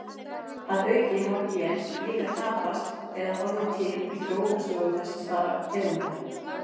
Að auki hafa gen líka tapast eða orðið til í þróunarsögu þessara tegunda.